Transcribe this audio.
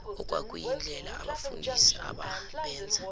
okwakuyindlela abafundisi ababenza